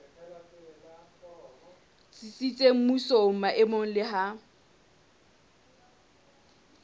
tsitsitseng mmusong maemong le ha